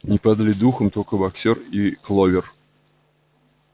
не падали духом только боксёр и кловер